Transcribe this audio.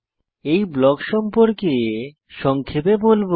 এই ব্লক সম্পর্কে সংক্ষেপে বলব